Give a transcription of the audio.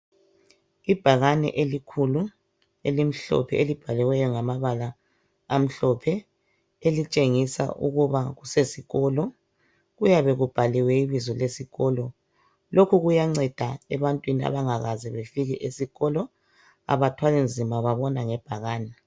Ibhakane elikhulu, elimhlophe, elibhaliweyo ngamabala amhlophe elitshengisa ukuba kusesikolo. Kuyabe kubhaliwe ibizo lesikolo, lokhu kuyanceda ebantwini abangakaze befike esikolo abathwali nzima babona ngebhakane